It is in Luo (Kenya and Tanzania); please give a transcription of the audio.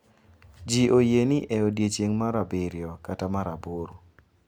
Ji oyie ni e odiechieng’ mar abiriyo kata mar aboro, .